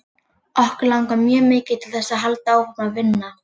Okkur langar mjög mikið til þess að halda áfram að vinna.